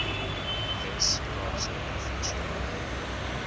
wes kaapse provinsiale